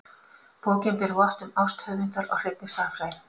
Bókin ber vott um ást höfundar á hreinni stærðfræði.